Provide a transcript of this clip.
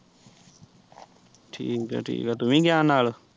ਠੀਕ ਏ ਠੀਕ ਏ ਤੂੰ ਵੀ ਗਿਆ ਨਾਲ਼।